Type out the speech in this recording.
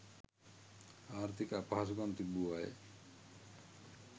ආර්ථික අපහසුකම් තිබූ අය